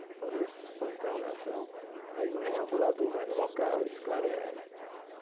Então, você põe interrogação, aí o reambulador vai no local e esclarece.